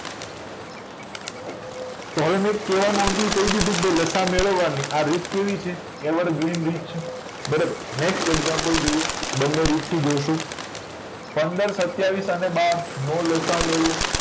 તો હવે મેં કે ભાઈ લસા મેળવવા ની આ રીત કેવી છે ever green રીત છે બરોબર next example જોઈએ બંને રીત થી જોઈશું પંદર સતીયાવીસ અને બાર નો લસા અ મેળવો